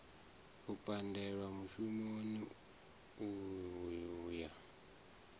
u pandelwa mushumoni u ya